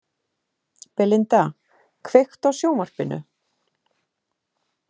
Belinda, kveiktu á sjónvarpinu.